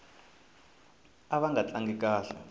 ava nga tlangi kahle